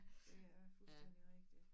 Det er fuldstændig rigtigt